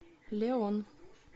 леон